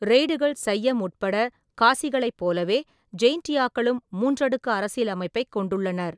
ரெய்டுகள், சைம் உட்பட, காசிகளைப் போலவே, ஜெயின்டியாக்களும் மூன்றடுக்கு அரசியல் அமைப்பைக் கொண்டுள்ளனர்.